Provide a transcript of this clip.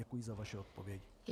Děkuji za vaši odpověď.